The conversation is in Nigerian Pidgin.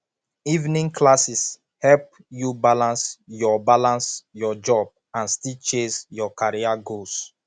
evening classes help you balance your balance your job and still chase your career goals